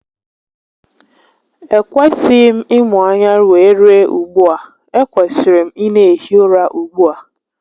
E kwesịghị m ịmụ anya wee rue ugbua, e kwesiri m ị na ehi ụra ugbu a